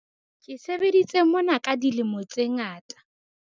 ke sebeditse mona ka dilemo tse ngata